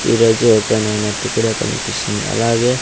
ఈరోజే ఓపెన్ ఐనట్టు కూడా కన్పిస్తుంది అలాగే--